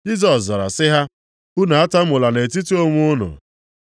Jisọs zara sị ha, “Unu atamula nʼetiti onwe unu.